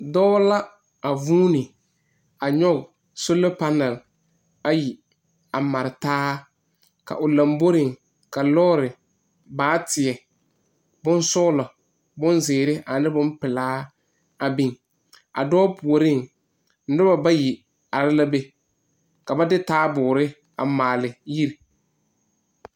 Dɔɔ la a vuuni a nyog sola panal ayi a mare taa. O laŋbore pʋɔ lɔre baateɛ ziire boŋsɔglɔ ane boŋpelaa a biŋ. A dɔɔ puoreŋ noba bayi aree la kyɛ ka ba de taaboore a maale ne yiri.